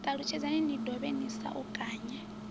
ṱalutshedzani ni dovhe ni saukanye